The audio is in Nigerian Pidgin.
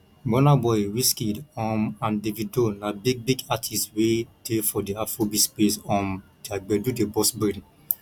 burnaboy wizkid um and davido na big big artiste wey dey for di afrobeat space um their gbedu dey burst brain